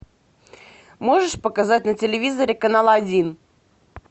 можешь показать на телевизоре канал один